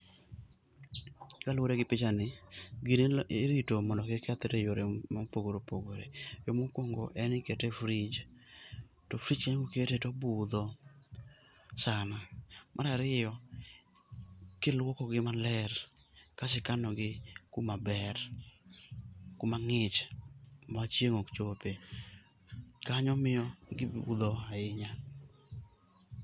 Kaluwore gi picha ni, gini irito mondo kik kethre e yore mopogore opogore. Yo mokuongo en ni ikete e frij, to frij kanyo koketee to obudho sana. Mar ariyo, kiluoko gi maler kaeto ikanogi kumaber, kuma ng'ich ma chieng' ok chopie. Kanyo miyo gibudho ahinya.